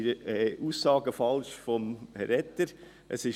die Aussagen von Herrn Etter sind falsch;